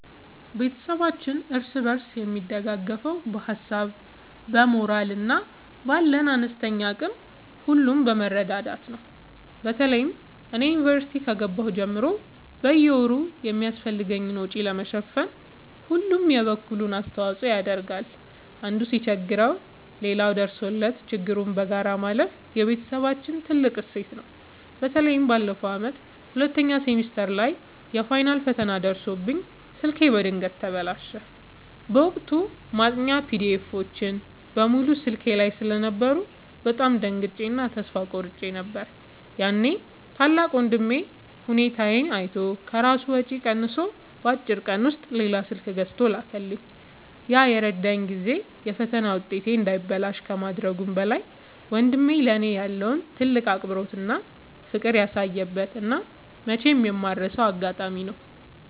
ቤተሰባችን እርስ በርስ የሚደጋገፈው በሀሳብ፣ በሞራል እና ባለን አነስተኛ አቅም ሁሉ በመረዳዳት ነው። በተለይ እኔ ዩኒቨርሲቲ ከገባሁ ጀምሮ በየወሩ የሚያስፈልገኝን ወጪ ለመሸፈን ሁሉም የበኩሉን አስተዋጽኦ ያደርጋል። አንዱ ሲቸገር ሌላው ደርሶለት ችግሩን በጋራ ማለፍ የቤተሰባችን ትልቅ እሴት ነው። በተለይ ባለፈው ዓመት ሁለተኛ ሴሚስተር ላይ የፋይናል ፈተና ደርሶብኝ ስልኬ በድንገት ተበላሸ። በወቅቱ ማጥኛ ፒዲኤፎች (PDFs) በሙሉ ስልኬ ላይ ስለነበሩ በጣም ደንግጬ እና ተስፋ ቆርጬ ነበር። ያኔ ታላቅ ወንድሜ ሁኔታዬን አይቶ ከራሱ ወጪ ቀንሶ በአጭር ቀን ውስጥ ሌላ ስልክ ገዝቶ ላከልኝ። ያ የረዳኝ ጊዜ የፈተና ውጤቴ እንዳይበላሽ ከማድረጉም በላይ፣ ወንድሜ ለእኔ ያለውን ትልቅ አክብሮትና ፍቅር ያሳየበት እና መቼም የማልረሳው አጋጣሚ ነው።